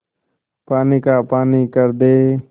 पानी का पानी कर दे